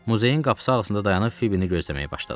Muzeyin qapısı ağzında dayanıb Fibbini gözləməyə başladım.